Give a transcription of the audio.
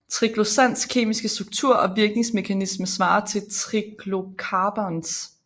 Triclosans kemiske struktur og virkningsmekanisme svarer til triclocarbans